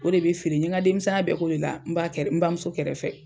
O de be feere. N ye ŋa denmisɛnya bɛɛ k'o de la n ba kɛrɛ n bamuso kɛrɛfɛ.